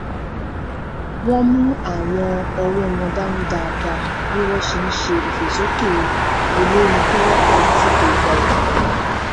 wọn mú àwọn ọwọ wọn dání dáadáa bí wọn ṣe n ṣeré ìfòsókè olórin tó wọpọ lásìkò ìgbà ètùtù